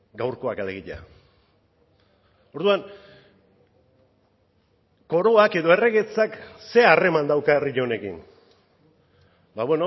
gaurkoak alegia orduan koroak edo erregetzak ze harreman dauka herri honekin ba